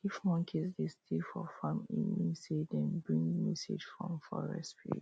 if monkeys dey steal for farm e mean say dem bring message from forest